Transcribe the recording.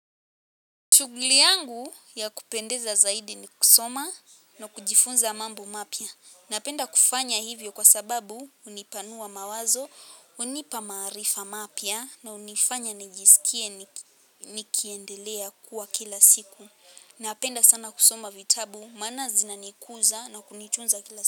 Shuguli yangu ya kupendeza zaidi ni kusoma na kujifunza mambo mapya. Napenda kufanya hivyo kwa sababu hunipanua mawazo, hunipa maarifa mapya na hunifanya nijisikie nikiendelea kuwa kila siku. Napenda sana kusoma vitabu maana zinanikuza na kunitunza kila siku.